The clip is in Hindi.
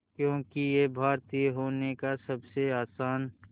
क्योंकि ये भारतीय होने का सबसे आसान